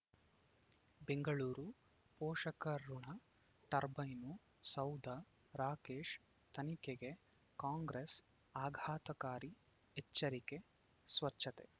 ಬೆಂಗಳೂರು ಪೋಷಕಋಣ ಟರ್ಬೈನು ಸೌಧ ರಾಕೇಶ್ ತನಿಖೆಗೆ ಕಾಂಗ್ರೆಸ್ ಆಘಾತಕಾರಿ ಎಚ್ಚರಿಕೆ ಸ್ವಚ್ಛತೆ